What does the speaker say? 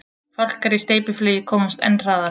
Fálkar í steypiflugi komast enn hraðar.